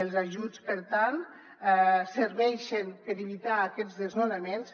els ajuts per tant serveixen per evitar aquests desnonaments